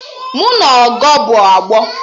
Mụ na Ọgọ bụ ọgbọ